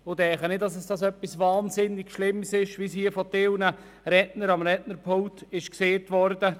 Ich denke nicht, dass es etwas wahnsinnig Schlimmes wäre, wie dies manche Redner am Rednerpult gesagt haben.